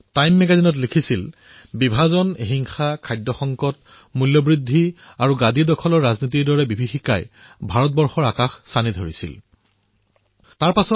time মেগাজিনে লিখিছিল যে ভাৰতত বিভাজন হিংসা খাদ্য সংকট মূল্যবৃদ্ধি আৰু শাসনৰ ৰাজনীতিৰ দৰে বিপদে দেখা দিছে